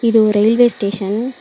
இது ஒரு railway station .